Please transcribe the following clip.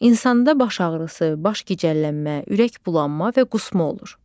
İnsanda baş ağrısı, baş gicəllənmə, ürək bulanma və qusma olur.